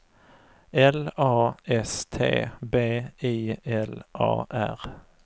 L A S T B I L A R